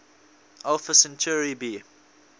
alpha centauri b